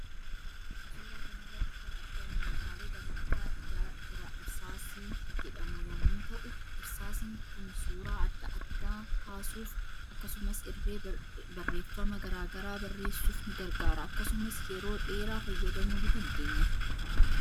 Suuraa kanarratti kan argamu meeshaalee barnoota irsaasii jedhamu yommuu ta'u. Irsaasiin Kun suuraa adda addaa kaasuuf akkasumas irree barreffama garaa garaa barrresauf ni gargaara akkasumas yeroo dheera fayyadamuu ni dandeenya.